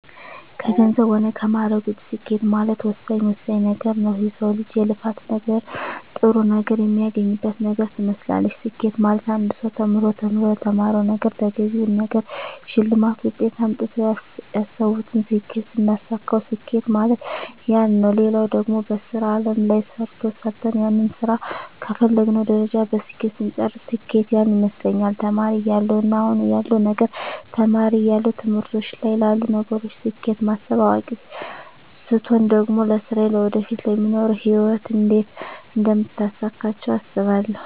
ከገንዘብ ሆነ ከማእረግ ውጭ ስኬት ማለት ወሳኝ ወሳኝ ነገረ ነዉ የሰው ልጅ የልፋት ነገር ጥሩ ነገር የሚያገኝበት ነገር ትመስላለች ስኬት ማለት አንድ ሰው ተምሮ ተምሮ ለተማረዉ ነገረ ተገቢውን ነገር ሸልማት ውጤት አምጥተው ያሰብቱን ስኬት ስናሳካዉ ስኬት ማለት ያነ ነዉ ሌላው ደግሞ በሥራ አለም ላይ ሰርተ ሰርተን ያንን ስራ ከተፈለገዉ ደረጃ በስኬት ስንጨርስ ስኬት ያነ ይመስለኛል ተማሪ እያለው እና አሁን ያለዉ ነገር ተማሪ እያለው ትምህርቶች ላይ ላሉ ነገሮች ስኬት ማስብ አዋቂ ስቾን ደግሞ ለስራየ ለወደፊቱ ለሚኖሩ ህይወት እንዴት አደምታሳካቸው አስባለሁ